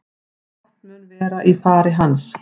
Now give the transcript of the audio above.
Fátt mun vera í fari hans